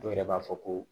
Dɔw yɛrɛ b'a fɔ ko